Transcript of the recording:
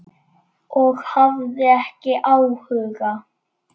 Og hafði ekki áhuga.